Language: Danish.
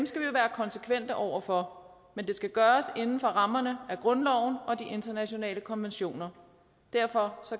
konsekvente over for men det skal gøres inden for rammerne af grundloven og de internationale konventioner derfor